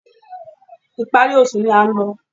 Ìparí oṣù ni a ń lọ